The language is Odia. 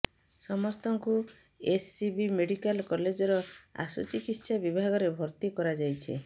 ସମସ୍ତଙ୍କୁ ଏସସିବି ମେଡିକାଲ କଲେଜର ଆଶୁ ଚିକିତ୍ସା ବିଭାଗରେ ଭର୍ତି କରାଯାଇଛି